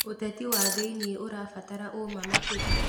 Ũteti wa thĩiniĩ ũrabatara ũma makĩria.